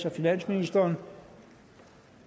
af finansministeren